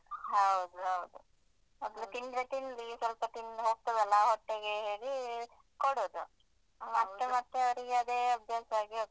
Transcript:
ಹೌದು ಹೌದು ಮಕ್ಳು ತಿಂದ್ರೆ ತಿನ್ಲಿ ಸ್ವಲ್ಪ ತಿಂದ್ ಹೋಗ್ತಾದೆಲ್ಲ ಹೊಟ್ಟೆಗೆ ಹೇಳಿ ಕೊಡುದು ಮತ್ತೆ ಮತ್ತೆ ಅವರಿಗೆ ಅದೇ ಅಭ್ಯಾಸ ಆಗಿ ಹೋಗ್ತದೆ.